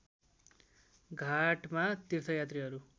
घाटमा तीर्थयात्रीहरू